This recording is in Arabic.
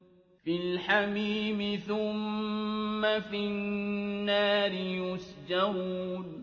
فِي الْحَمِيمِ ثُمَّ فِي النَّارِ يُسْجَرُونَ